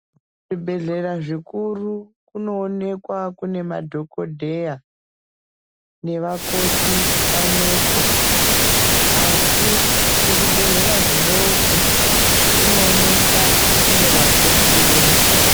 Kuzvibhelhelra zvikuru kunoonekwa kune madhokodheya nevakoti pamwepo, asi kuzvibhehlera zvidooko kunoonekwa kune vakoti vega.